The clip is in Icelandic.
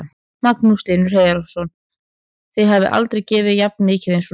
Magnús Hlynur Hreiðarsson: Þið hafið aldrei gefið jafn mikið eins og núna?